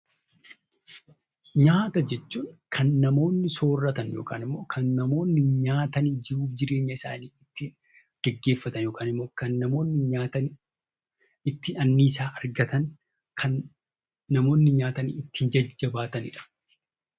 Nyaata jechuun kan namoonni sooratan yokaan immoo nyaatan jiruuf jireenya isaanii ittiin geggeeffatan, yookaan immoo kan namoonni nyaatanii itti annisaa argatan, kan namoonni nyaatanii ittiin jajjabaatani dha.